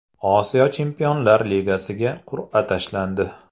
Osiyo Chempionlar Ligasiga qur’a tashlandi.